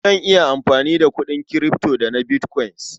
Zan iya amfani da kuɗin kirifto da na bitkwain.